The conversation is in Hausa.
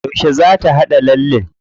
Yauce za ta haɗa lallen?